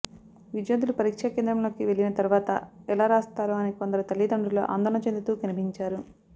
విద్యార్థులు పరీక్షా కేంద్రంలోని వెళ్లిన తర్వాత ఎలా రాస్తారో అని కొందరు తల్లిదండ్రులు ఆందోళన చెందుతూ కనిపించారు